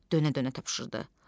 Dönə-dönə tapşırırdı.